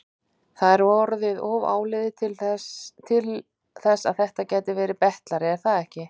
Það er orðið of áliðið til þess að þetta gæti verið betlari, er það ekki?